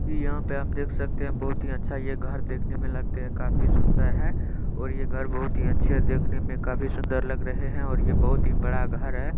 इ यहाँ पे आप देख सकते हैं बहुत ही अच्छा ये घर देखने मे लगते है काफी सुन्दर है और ये घर बहुत ही अच्छे है देखने मे काफी सुन्दर लग रहे है और ये बहुत ही बड़ा घर है।